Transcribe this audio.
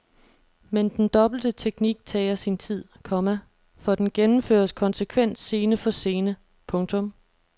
Men den dobbelte teknik tager sin tid, komma for den gennemføres konsekvent scene for scene. punktum